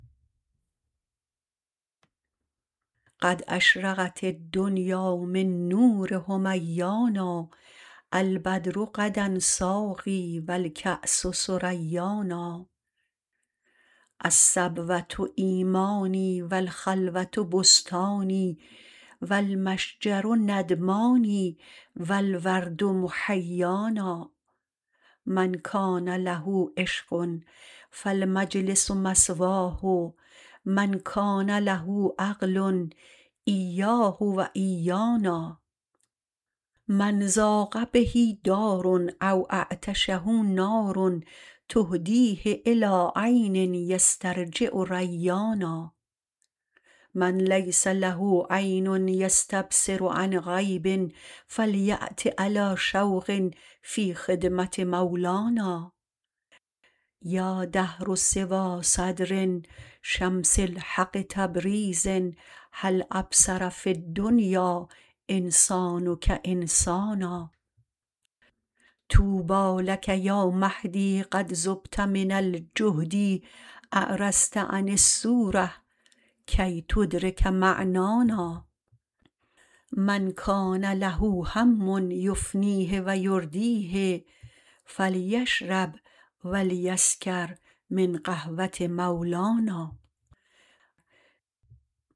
قد اشرقت الدنیا من نور حمیانا البدر غدا ساقی و الکأس ثریانا الصبوه ایمانی و الخلوه بستانی و المشجر ندمانی و الورد محیانا من کان له عشق فالمجلس مثواه من کان له عقل ایاه و ایانا من ضاق به دار او اعطشه نار تهدیه الی عین یسترجع ریانا من لیس له عین یستبصر عن غیب فلیأت علی شوق فی خدمه مولانا یا دهر سوی صدر شمس الحق تبریز هل ابصر فی الدنیا انسانک انسانا طوبی لک یا مهدی قد ذبت من الجهد اعرضت عن الصوره کی تدرک معنانا من کان له هم یفنیه و یردیه فلیشرب و لیسکر من قهوه مولانا